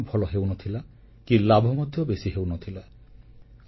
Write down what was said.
ଉତ୍ପାଦନ ଭଲ ହେଉନଥିଲା କି ଲାଭ ମଧ୍ୟ ବେଶୀ ହେଉନଥିଲା